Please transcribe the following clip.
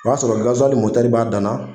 O b'a sɔrɔ gaziwali mɔtɛei b'a dan na.